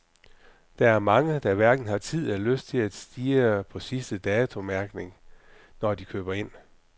Der er mange, der hverken har tid eller lyst til at stirre på sidste datomærkningen, når de køber ind.